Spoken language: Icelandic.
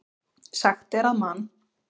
Sagt er að Man.